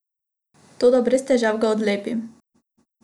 Toda brez težav ga odlepim.